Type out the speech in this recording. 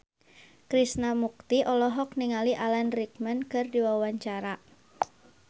Krishna Mukti olohok ningali Alan Rickman keur diwawancara